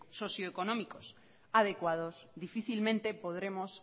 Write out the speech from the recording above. socioeconómicos adecuados difícilmente podremos